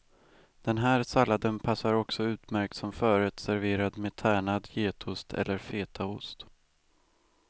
Den här salladen passar också utmärkt som förrätt serverad med tärnad getost eller fetaost.